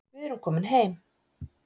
Við erum komin heim